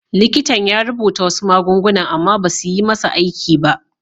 Likitan ya rubuta wasu magunguna amma basu yi masa aiki ba.